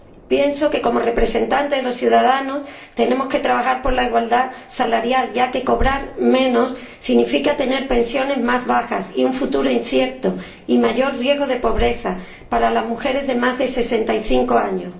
Pienso que, como representantes de los ciudadanos, tenemos que trabajar por la igualdad salarial, ya que cobrar menos significa tener pensiones más bajas, un futuro incierto y mayor riesgo de pobreza para las mujeres de más de 65 años.